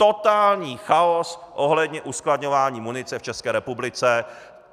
Totální chaos ohledně uskladňování munice v České republice.